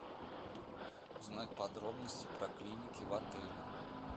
узнать подробности про клиники в отеле